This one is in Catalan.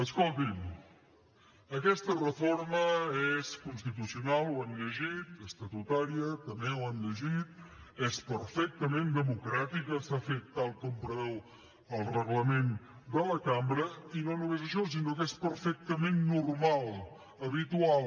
escolti’m aquesta reforma és constitucional ho hem llegit estatutària també ho hem llegit és perfectament democràtica s’ha fet tal com preveu el reglament de la cambra i no només això sinó que és perfectament normal habitual